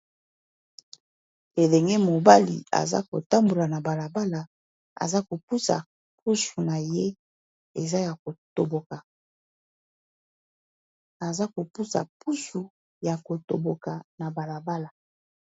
Elenge mobali aza kotambola na balabala aza kopusa pusu naye eza Yako toboka aza kopusa pusa Yako toboka na bala bala.